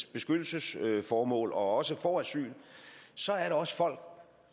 beskyttelsesformål og også får asyl så er der også folk